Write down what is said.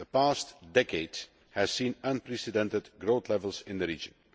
The past decade has seen unprecedented growth levels in the region.